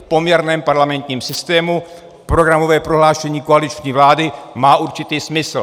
V poměrném parlamentním systému programové prohlášení koaliční vlády má určitý smysl.